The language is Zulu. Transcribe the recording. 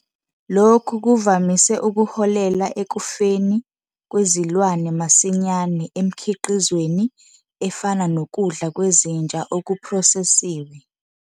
Lokhu kuvamise ukuholela ekufeni kwezilwane masinyane emkhiqizweni ofana nokudla kwezinja okuphrosesiwe.